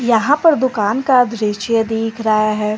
यहां पर दुकान का दृश्य दिख रहा है।